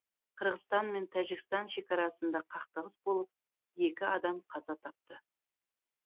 қырғызстан мен тәжікстан шекарасында қақтығыс болып екі адам қаза тапты